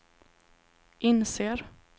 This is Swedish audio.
inser